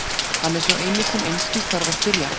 Hann er sá eini sem einskis þarf að spyrja.